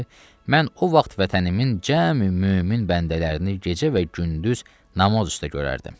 mən o vaxt vətənimin cəmi mömin bəndələrini gecə və gündüz namaz üstə görərdim.